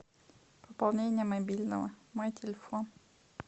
пополнение мобильного мой телефон